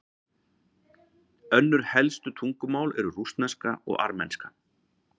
önnur helstu tungumál eru rússneska og armenska